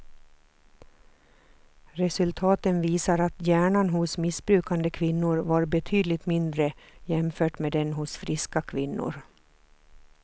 Resultaten visar att hjärnan hos missbrukande kvinnor var betydligt mindre jämfört med den hos friska kvinnor.